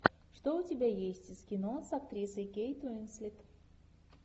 что у тебя есть из кино с актрисой кейт уинслет